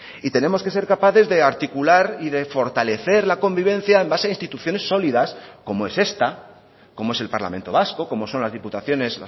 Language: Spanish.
y tenemos que ser capaces de articular y de fortalecer la convivencia en base a instituciones sólidas como es esta como es el parlamento vasco como son las diputaciones